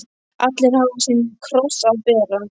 Allir hafa sinn kross að bera.